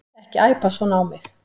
Ekki æpa svona á mig.